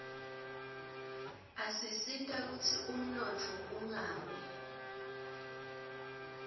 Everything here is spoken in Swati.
asisita kutsi umnotfo ungawi